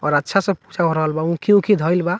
और अच्छा से पूजा हो रहल बा उखी-उखी धइल बा।